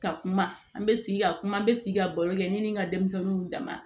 Ka kuma an bɛ sigi ka kuma n bɛ sigi ka baro kɛ ne ni n ka denmisɛnninw dama